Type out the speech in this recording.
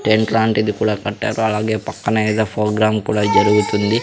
Tent లాంటిది కూడా కట్టారు అలాగే పక్కన ఎదో ఫోగ్రాం కూడా జరుగుతుంది.